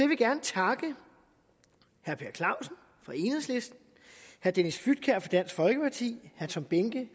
vil gerne takke herre per clausen fra enhedslisten herre dennis flydtkjær fra dansk folkeparti herre tom behnke